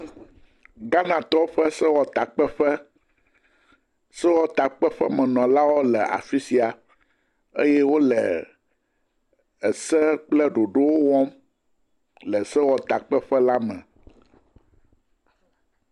Ghantɔwo ƒe sewɔtakpeƒe, sewɔtakpeƒemenɔlawo le afi sia eye wole ese kple ɖoɖowo wɔm le sewɔtakpeƒe la me.